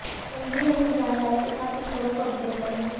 जल्द ही हम इस जानकारी के साथ इस खबर को अपडेट करेंगे